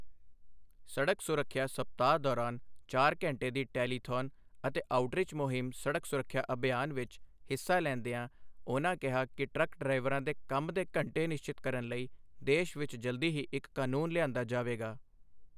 ਸੜਕ ਸੁਰੱਖਿਆ ਸਪਤਾਹ ਦੌਰਾਨ ਚਾਰ ਘੰਟੇ ਦੀ ਟੈਲੀਥੌਨ ਅਤੇ ਆਉਟਰੀਚ ਮੁਹਿੰਮ ਸੜਕ ਸੁਰੱਖਿਆ ਅਭਿਯਾਨ ਵਿੱਚ ਹਿੱਸਾ ਲੈਂਦਿਆਂ ਉਨ੍ਹਾਂ ਕਿਹਾ ਕਿ ਟਰੱਕ ਡਰਾਈਵਰਾਂ ਦੇ ਕੰਮ ਦੇ ਘੰਟੇ ਨਿਸ਼ਚਿਤ ਕਰਨ ਲਈ ਦੇਸ਼ ਵਿੱਚ ਜਲਦੀ ਹੀ ਇੱਕ ਕਾਨੂੰਨ ਲਿਆਂਦਾ ਜਾਵੇਗਾ।